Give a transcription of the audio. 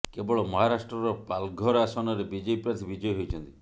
କେବଳ ମହାରାଷ୍ଟ୍ରର ପାଲଘର ଆସନରେ ବିଜେପି ପ୍ରାର୍ଥୀ ବିଜୟୀ ହୋଇଛନ୍ତି